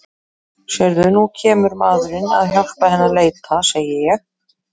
Sérðu, nú kemur maðurinn að hjálpa henni að leita, segi ég.